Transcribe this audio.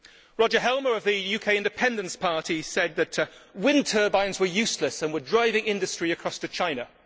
Roger Helmer of the UK Independence Party said that wind turbines were useless and were driving industry across to China.